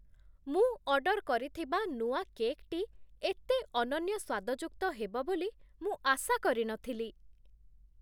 ମୁଁ ଅର୍ଡର୍ କରିଥିବା ନୂଆ କେକ୍‌ଟି ଏତେ ଅନନ୍ୟ ସ୍ୱାଦଯୁକ୍ତ ହେବ ବୋଲି ମୁଁ ଆଶା କରି ନଥିଲି!